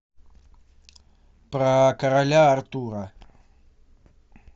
про короля артура